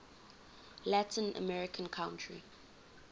latin american country